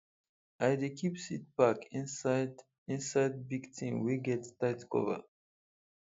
i dey keep seed pack inside inside big tin wey get tight cover